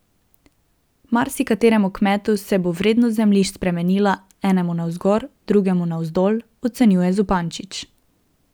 Marsikateremu kmetu se bo vrednost zemljišč spremenila, enemu navzgor, drugemu navzdol, ocenjuje Zupančič.